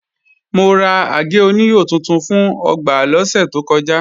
Mo ra àgé-oníhò tuntun fún ọgbà lọ́sẹ̀ tó kọjá